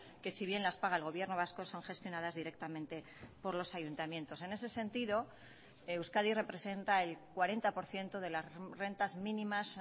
que si bien las paga el gobierno vasco son gestionadas directamente por los ayuntamientos en ese sentido euskadi representa el cuarenta por ciento de las rentas mínimas